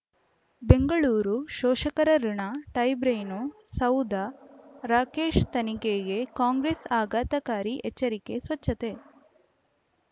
ಬೆಂಗಳೂರು ಷೋಷಕರಋಣ ಟೈಬ್ರೇನು ಸೌಧ ರಾಕೇಶ್ ತನಿಖೆಗೆ ಕಾಂಗ್ರೆಸ್ ಆಘಾತಕಾರಿ ಎಚ್ಚರಿಕೆ ಸ್ವಚ್ಛತೆ